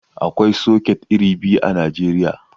Aƙwai soket iri biyu a Najeriya.